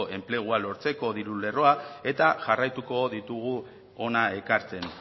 enplegua lortzeko diru lerroak eta jarraituko ditugu hona ekartzen